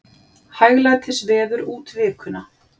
Hæglætisveður út vikuna